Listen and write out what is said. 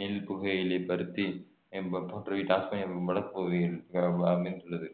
நெல் புகையிலை பருத்தி போன்றவை டாஸ்மேனியாவின் வடக்கு பகுதியில் அமைந்துள்ளது